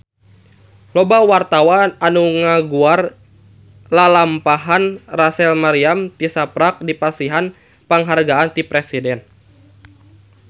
Loba wartawan anu ngaguar lalampahan Rachel Maryam tisaprak dipasihan panghargaan ti Presiden